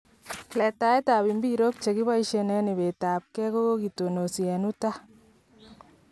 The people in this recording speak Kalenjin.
Letaet ab mbirok chekibaisien en ibet ab kee kokakitonosi en Utah